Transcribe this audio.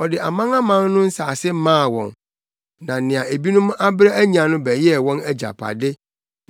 ɔde amanaman no nsase maa wɔn, na nea ebinom abrɛ anya no bɛyɛɛ wɔn agyapade